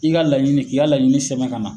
I ka laɲini k'i ka laɲini sɛbɛn ka na